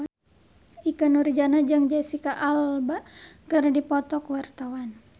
Ikke Nurjanah jeung Jesicca Alba keur dipoto ku wartawan